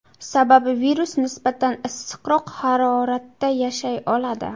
Sababi virus nisbatan issiqroq haroratda yashay oladi.